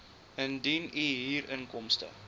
indien u huurinkomste